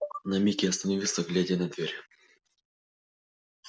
на миг я остановился глядя на дверь